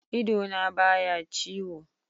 Idona ba ya ciwo.